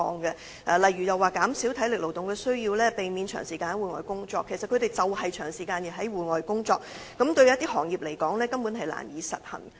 舉例來說，指引建議減少體力勞動和避免長時間在戶外工作，但建造業工人正正需要長時間在戶外工作，這些指引對某些工種而言根本難以實行。